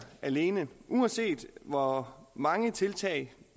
alene uanset hvor mange tiltag